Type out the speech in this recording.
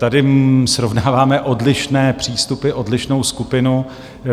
Tady srovnáváme odlišné přístupy, odlišnou skupinu.